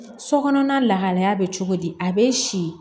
So kɔnɔna lahalaya bɛ cogo di a bɛ si